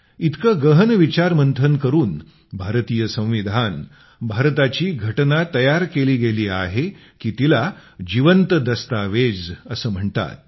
इतके गहन विचारमंथन करून भारतीय संविधानभारताची घटना तयार केली गेली आहे की तिला जिवंत दस्तावेज असे म्हणतात